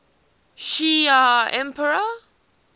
shi ar empire